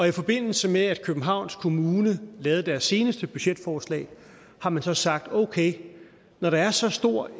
i forbindelse med at københavns kommune lavede deres seneste budgetforslag har man så sagt okay når der er så stor